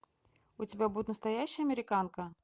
у тебя будет настоящая американка